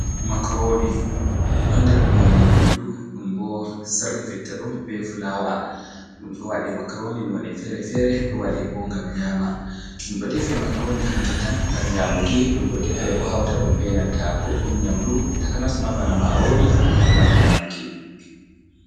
Makaroni ɗon der none nyamdu ɗum bo sarri fitta ɗum be fulawa, Ɗum ɗo waɗe makaroni none feere-feere, ɗo waɗe bo ngam nyama, ɗum ɗo defe makaroni hanju tan ngam nyamuki, ɗum ɗo defe bo hauta ɗum be nanta goɗɗum nyamdu takanasma bana marori ngam nyamuki.